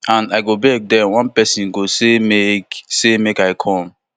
and i go beg den one pesin go say make say make i come